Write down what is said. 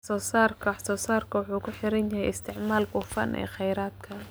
Wax-soo-saarka wax-soo-saarku wuxuu ku xiran yahay isticmaalka hufan ee kheyraadka.